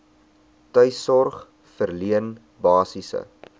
tuissorg verleen basiese